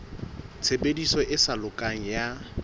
tshebediso e sa lokang ya